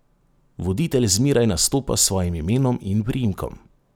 Voditelj zmeraj nastopa s svojim imenom in priimkom.